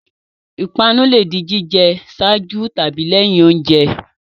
Ìpanu le di jíjẹ ṣáájú tàbí lẹ́yìn oúnjẹ.